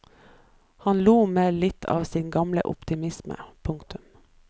Han lo med litt av sin gamle optimisme. punktum